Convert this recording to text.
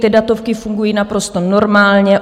Ty datovky fungují naprosto normálně.